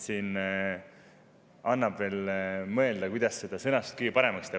Annab veel mõelda, kuidas seda sõnastust kõige paremaks teha.